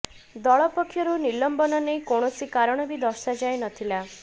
ଦଳ ପକ୍ଷରୁ ନିଲମ୍ବନ ନେଇ କୌଣସି କାରଣ ବି ଦର୍ଶାଯାଇ ନଥିଲା